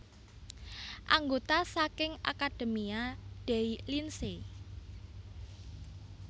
Anggota saking Accademia dei Lincei